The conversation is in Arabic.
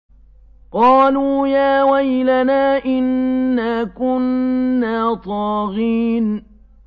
قَالُوا يَا وَيْلَنَا إِنَّا كُنَّا طَاغِينَ